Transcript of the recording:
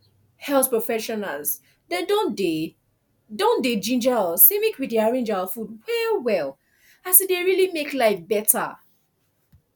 health professionals dem don dey don dey ginger us say make we dey arrange our food well well as e dey really make life beta